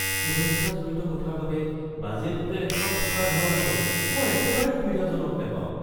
সুৰক্ষা জড়িত কথাৰ বাবে বাজেট হোটেল এখনত থকাৰ ধাৰণাটো মই একেবাৰে সুবিধাজনক নাপাওঁ।